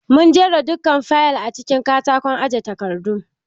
Mun jera dukkan fayil acikin katakon aje takardu.